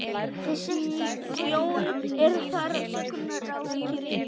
Sjón er þar sögu ríkari.